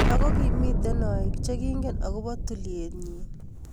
ako kimitei aik chekingen akopo tulchet nyi